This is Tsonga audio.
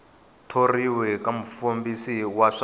thoriwa ka mufambisi wa swa